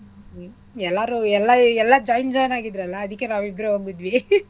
ಎಲ್ಲಾರೂ ಎಲ್ಲಾ ಎಲ್ಲಾ ಈ join join ಆಗಿದ್ರಲ್ಲ ಅದಿಕ್ಕೆ ನಾವಿಬ್ರೆ ಹೋಗಿದ್ವಿ .